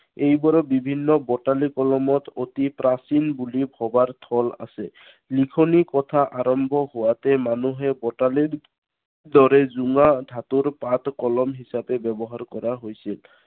এইবোৰ বিভিন্ন বটালি কলমত অতি প্ৰাচীন বুলি ভবাৰ থল আছে। লিখনি কথা আৰম্ভ হোৱাতেই মানুহে বটালিৰ দৰে জোঙা ধাতুৰ পাত কলম হিচাপে ব্য়ৱহাৰ কৰা হৈছিল।